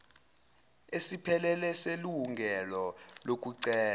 esiphelele selungelo lokucela